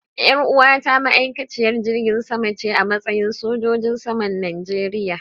Yar uwata ma'aikaciyar jirgin sama ce a matsayi sojojin saman Najeriya.